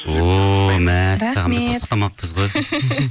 о мәссаған біз құттықтамаппыз ғой